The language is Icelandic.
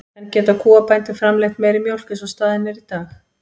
En geta kúabændur framleitt meiri mjólk eins og staðan er í dag?